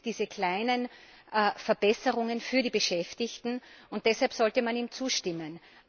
Es gibt diese kleinen Verbesserungen für die Beschäftigten, und deshalb sollte man ihm zustimmen.